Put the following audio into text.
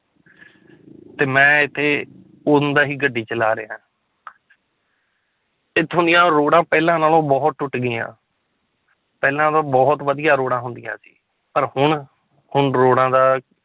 ਤੇ ਮੈਂ ਇੱਥੇ ਉਦੋਂ ਦਾ ਹੀ ਗੱਡੀ ਚਲਾ ਰਿਹਾਂ ਇੱਥੋਂ ਦੀ ਰੋਡਾਂ ਪਹਿਲਾਂ ਨਾਲੋਂ ਬਹੁਤ ਟੁੱਟ ਗਈਆਂ ਪਹਿਲਾਂ ਤਾਂ ਬਹੁਤ ਵਧੀਆ ਰੋਡਾਂ ਹੁੰਦੀਆਂ ਸੀ ਪਰ ਹੁਣ ਹੁਣ ਰੋਡਾਂ ਦਾ